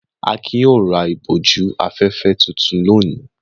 Akin yóò ra ìbòjú-afẹ́fẹ́ tuntun lónìí!